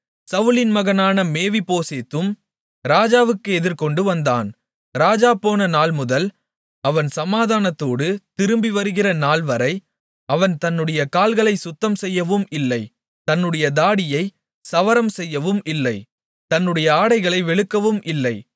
சவுலின் மகனான மேவிபோசேத்தும் ராஜாவுக்கு எதிர்கொண்டுவந்தான் ராஜா போன நாள்முதல் அவன் சமாதானத்தோடு திரும்பிவருகிற நாள்வரை அவன் தன்னுடைய கால்களைச் சுத்தம் செய்யவும் இல்லை தன்னுடைய தாடியைச் சவரம் செய்யவும் இல்லை தன்னுடைய ஆடைகளை வெளுக்கவுமில்லை இல்லை